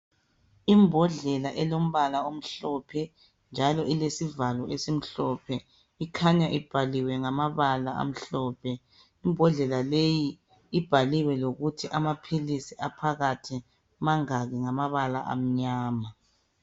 Imbodlela elombala omhlophe njalo ilesivalo esimhlophe. Ikhanya ibhaliwe ngamabala amhlophe. Imbodlela leyo ibaliwe lokuthi amaphilisi aphakathi mangaki ngamabala amnyama.